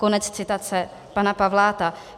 Konec citace pana Pavláta.